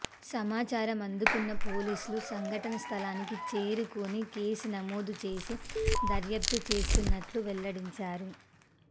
సమాచారం అందుకున్న పోలీసులు సంఘటన స్థలానికి చేరుకుని కేసు నమోదు చేసి దర్యాప్తు చేస్తున్నట్టు వెల్లడించారు